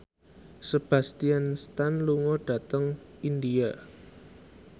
Sebastian Stan lunga dhateng India